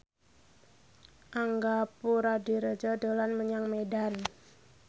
Angga Puradiredja dolan menyang Medan